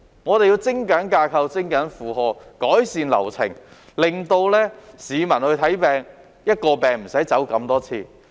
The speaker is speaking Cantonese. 我們要精簡架構、減少負荷、改善流程，令市民無須為一種病症而要走這麼多趟。